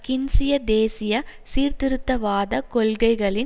கீன்சிய தேசிய சீர்திருத்தவாத கொள்கைகளின்